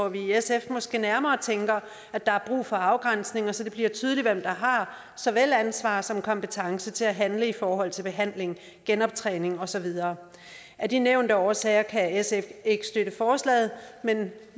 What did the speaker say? vi i sf måske nærmere tænker at der er brug for afgrænsning så det bliver tydeligt hvem der har såvel ansvar som kompetence til at handle i forhold til behandling genoptræning og så videre af de nævnte årsager kan sf ikke støtte forslaget men